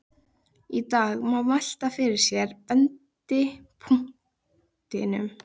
Í dag má velta fyrir sér vendipunktinum.